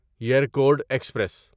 Yercaud express